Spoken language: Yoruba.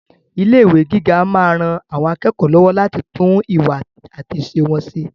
Ilé ìwé gíga máa ran àwọn akẹ́kọ̀ọ́ lọ́wọ́ láti tún ìwà àti ìṣe wọn ṣe.